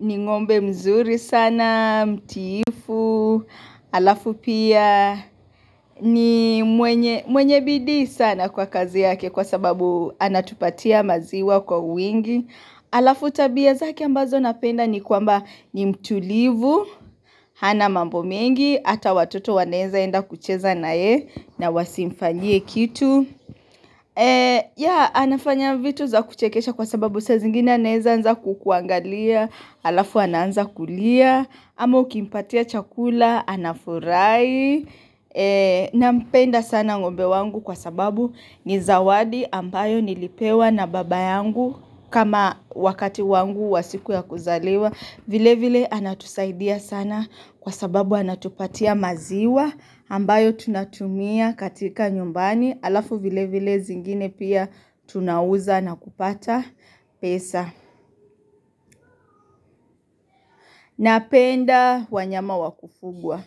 ni ngombe mzuri sana, mtiifu, alafu pia ni mwenye bidii sana kwa kazi yake kwa sababu anatupatia maziwa kwa wingi. Alafu tabia zake ambazo napenda ni kwamba ni mtulivu, hana mambo mengi, hata watoto wanaeza enda kucheza na ye na wasimfanyie kitu. Ya, anafanya vitu za kuchekesha kwa sababu saa zingine anaweza anza kukuangalia, alafu anaanza kulia, ama ukimpatia chakula, anafurahi. Nampenda sana ngombe wangu kwa sababu ni zawadi ambaye nilipewa na baba yangu kama wakati wangu wa siku ya kuzaliwa vile vile anatusaidia sana kwa sababu anatupatia maziwa ambayo tunatumia katika nyumbani Alafu vile vile zingine pia tunauza na kupata pesa. Napenda wanyama wa kufugwa.